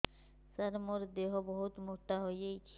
ସାର ମୋର ଦେହ ବହୁତ ମୋଟା ହୋଇଯାଉଛି